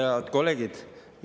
Head kolleegid!